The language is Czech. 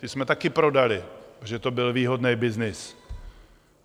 Ty jsme taky prodali, protože to byl výhodný byznys.